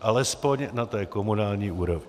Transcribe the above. alespoň na té komunální úrovni.